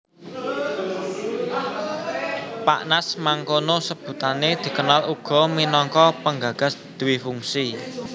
Pak Nas mangkono sebutané dikenal uga minangka penggagas dwifungsi